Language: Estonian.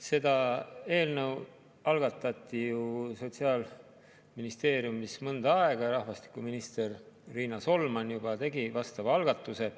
See eelnõu algatati ju Sotsiaalministeeriumis mõnda aega tagasi, juba rahvastikuminister Riina Solman tegi vastava algatuse.